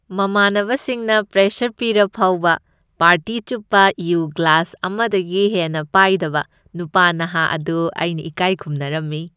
ꯃꯃꯥꯟꯅꯕꯁꯤꯡꯅ pressure ꯄꯤꯔꯐꯧꯕ party ꯆꯨꯞꯄ ꯌꯨ ꯒ꯭ꯂꯥꯁ ꯑꯃꯗꯒꯤ ꯍꯦꯟꯅ ꯄꯥꯏꯗꯕ ꯅꯨꯄꯥ ꯅꯍꯥ ꯑꯗꯨ ꯑꯩꯅ ꯏꯀꯥꯢ ꯈꯨꯝꯅꯔꯝꯃꯤ꯫